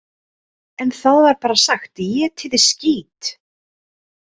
En það var bara sagt: „Étiði skít!“